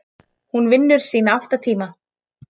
Hún vinnur sína átta tíma.